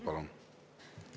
Palun!